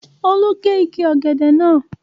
Olú gé igi ọ̀gẹ̀dẹ̀ náà